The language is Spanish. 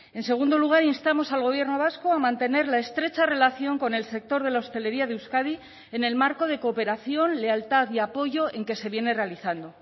en segundo lugar instamos al gobierno vasco a mantener la estrecha relación con el sector de la hostelería de euskadi en el marco de cooperación lealtad y apoyo en que se viene realizando